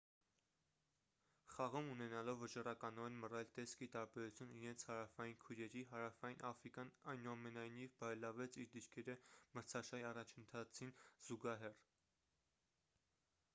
խաղում ունենալով վճռականորեն մռայլ տեսք ի տարբերություն իրենց հարավային քույրերի հարավային աֆրիկան այնուամենայնիվ բարելավեց իր դիրքերը մրցաշարի առաջընթացին զուգահեռ